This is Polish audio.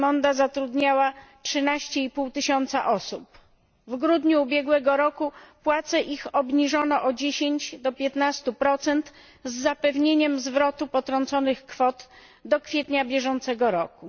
Qimonda zatrudniała 13,5 tysiąca osób. W grudniu ubiegłego roku ich płace obniżono o 10 do 15 z zapewnieniem zwrotu potrąconych kwot do kwietnia bieżącego roku.